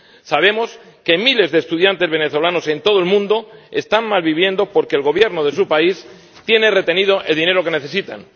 Sabemos que miles de estudiantes venezolanos en todo el mundo están malviviendo porque el Gobierno de su país tiene retenido el dinero que necesitan.